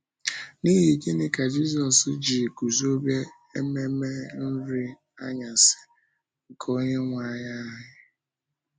N’ihi gịnị ka Jisọs ji guzobe ememe Nri Anyasị nke Onyenwe Anyị?